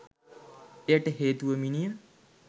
එයට හේතුව මිනිය